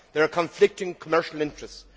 There are conflicting commercial interests.